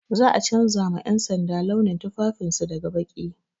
Za a canja ma 'yansanda launin tufafin su daga baƙi.